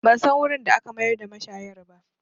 Ban san wurin da aka mayar da mashayar ba